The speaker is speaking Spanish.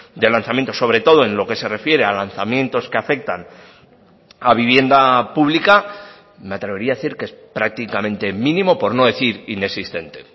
de lanzamiento sobre todo en lo que se refiere a lanzamientos que afectan a vivienda pública me atrevería a decir que es prácticamente mínimo por no decir inexistente